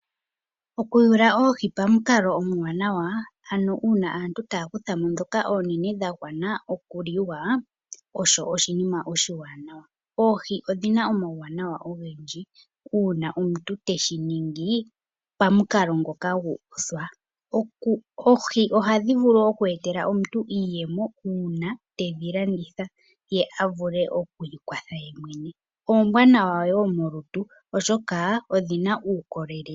Okuyula oohi pamukalo omuwanawa ano uuna aantu taakutha mo dhoka oonene dha gwana okuliwa osho oshinima oshiwanawa oohi odhina omauwanaw ogandji uuna omuntu teshi ningi pamukalo ngoka guuka oohi ohadhi vulu okwee eta omuntu iiyemo uuna omuntu tedhi landitha ye a vulu oku ikwatha oombwanawa wo molutu oshoka odhina uukolelele.